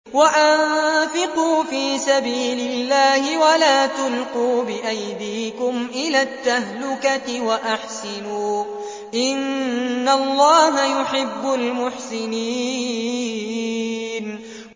وَأَنفِقُوا فِي سَبِيلِ اللَّهِ وَلَا تُلْقُوا بِأَيْدِيكُمْ إِلَى التَّهْلُكَةِ ۛ وَأَحْسِنُوا ۛ إِنَّ اللَّهَ يُحِبُّ الْمُحْسِنِينَ